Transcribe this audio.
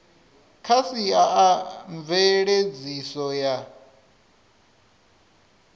kha sia a mveledziso ya